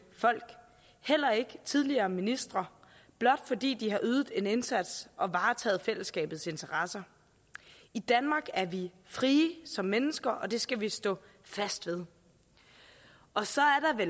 folk heller ikke tidligere ministre blot fordi de har ydet en indsats og varetaget fællesskabets interesser i danmark er vi frie som mennesker og det skal vi stå fast ved og så